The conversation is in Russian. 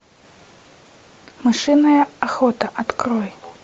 мышиная охота открой